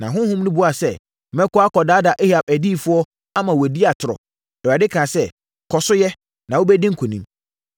Na honhom no buaa sɛ, “Mɛkɔ akɔdaadaa Ahab adiyifoɔ, ama wɔadi atorɔ.” Awurade kaa sɛ, “Kɔ so yɛ, na wobɛdi nkonim.